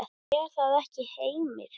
Er það ekki Heimir?